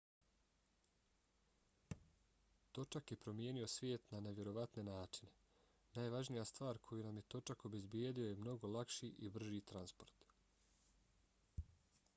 točak je promijenio svijet na nevjerovatne načine. najvažnija stvar koju nam je točak obezbijedio je mnogo lakši i brži transport